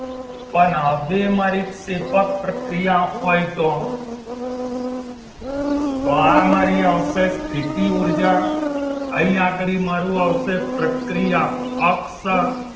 પણ હવે મારી ક્ષેપક પ્રક્રિયા હોય તો તો આ મારી આવશે સ્થિતી ઉર્જા અહીં આગળ મારુ આવશે પ્રક્રિયા